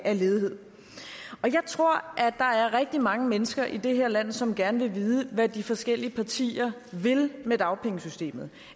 af ledighed jeg tror at der er rigtig mange mennesker i det her land som gerne vil vide hvad de forskellige partier vil med dagpengesystemet